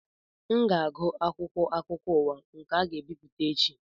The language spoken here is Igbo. M ga-agụ akwụkwọ akụkọ ụwa nke a ga-ebipụta echi